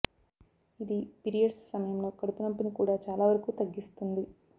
ఇది పిరియడ్స్ సమయంలో కడుపు నొప్పిని కూడా చాలా వరకూ తగ్గిస్తుంది